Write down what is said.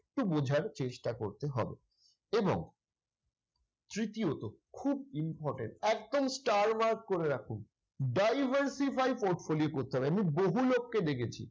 একটু বোঝার চেষ্টা করতে হবে এবং তৃতীয়ত খুব important একদম star marks করে রাখুন। diversify portfolio করতে হবে। আমি বহু লোককে দেখেছি।